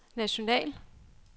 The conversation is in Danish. national